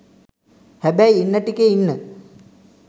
හැබැයි ඉන්න ටිකෙ ඉන්න